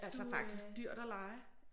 Det er altså faktisk dyrt at leje